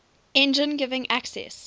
engine giving access